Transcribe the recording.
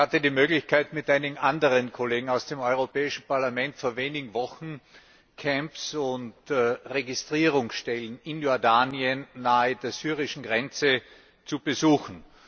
Ich hatte die Möglichkeit, mit einigen anderen Kollegen aus dem Europäischen Parlament vor wenigen Wochen Camps und Registrierungsstellen in Jordanien nahe der syrischen Grenze zu besuchen.